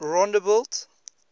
rondebult